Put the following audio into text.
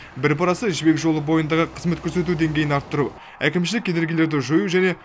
бір парасы жібек жолы бойындағы қызмет көрсету деңгейін арттыру әкімшілік кедергілерді жою және